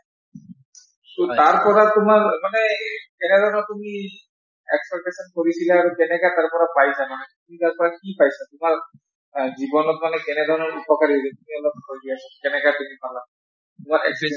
তাৰ পৰা তোমাৰ মানে কেনেধৰণৰ তুমি expectation কৰিছিলা আৰু কেনকা তাৰ পৰা পাইছা মানে ? কিবা এটা কি পাইছা মানে কিবা অ জীৱনত মানে কেনেধৰণৰ উপকাৰী সেইখিনি অলপ কৈ দিয়াচোন । কেনেকে তুমি পালা